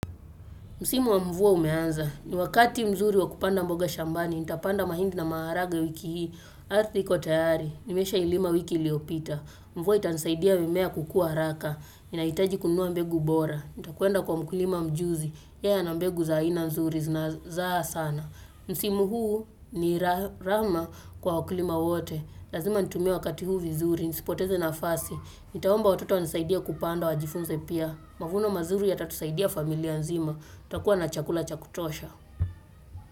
Msimu wa mvua umeanza, ni wakati mzuri wa kupanda mboga shambani, nitapanda mahindi na maharaga wiki hii. Arthi iko tayari, nimeshailima wiki iliopita. Mvua itanisaidia mimea kukua raka. Ninahitaji kununua mbegu bora. Nitakuenda kwa mkulima mjuzi. Yeye ana mbegu za aina nzuri zinazza sana. Msimu huu ni rahama kwa wakulima wote. Lazima nitumie wakati huu vizuri, nisipoteze nafasi. Nitaomba watoto wanisaidie kupanda wajifunze pia. Mavuno mazuri yatatusaidia familia nzima. Kuwa na chakula cha kutosha.